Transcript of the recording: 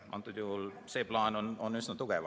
Antud juhul on see plaan üsna tugev.